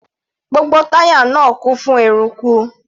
Gbogbo táyà náà kún fún eruku.